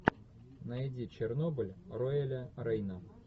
найди чернобыль роэля рейна